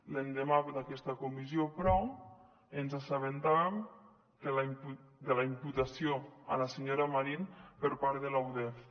l’endemà d’aquesta comissió però ens assabentàvem de la imputació a la senyora marín per part de la udef